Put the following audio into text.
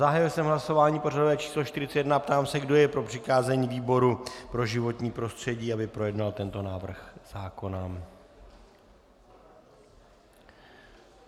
Zahájil jsem hlasování pořadové číslo 41 a ptám se, kdo je pro přikázání výboru pro životní prostředí, aby projednal tento návrh zákona.